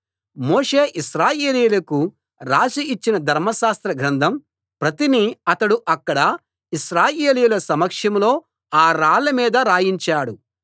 మోషే ఇశ్రాయేలీయులకు రాసి ఇచ్చిన ధర్మశాస్త్రగ్రంథం ప్రతిని అతడు అక్కడ ఇశ్రాయేలీయుల సమక్షంలో ఆ రాళ్ల మీద రాయించాడు